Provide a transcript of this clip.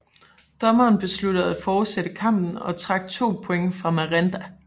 Dommeren besluttede at fortsætte kampen og trak to point fra Miranda